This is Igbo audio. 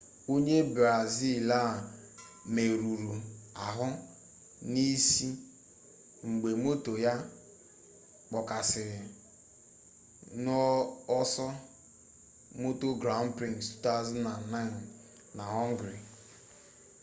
onye brazil a merụrụ ahụ n'isi mgbe moto ya kpọkasịrị n'ọsọ moto grand prix 2009 na họngarị